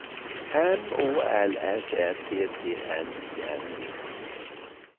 M Å L S Ä T T N I N G